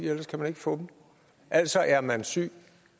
ellers kan man ikke få det altså er man syg